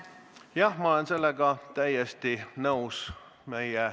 Jah, ma olen sellega täiesti nõus.